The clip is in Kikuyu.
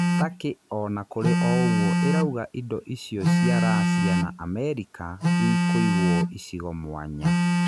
Takĩ ona kũrĩ o ũguo ĩrauga indo icio cia Racia na Amerika ikũiguo icigo mwanya.